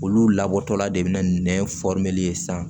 Olu labɔtɔla de be na nɛn ye sisan